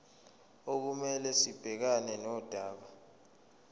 okumele sibhekane nodaba